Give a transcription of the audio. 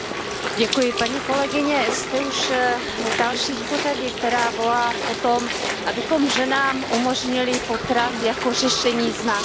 Paní kolegyně, jste už další v pořadí, která volá po tom, abychom ženám umožnili potrat jako řešení znásilnění.